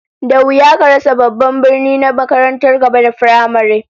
Da wuya ka rasa babban birni da makarantar gaba da firamare